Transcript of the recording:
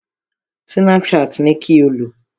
Snapchat ni kí o lò!